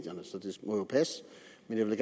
jeg vil